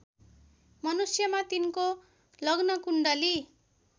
मनुष्यमा तिनको लग्नकुण्डली